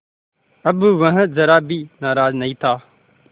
अब वह ज़रा भी नाराज़ नहीं था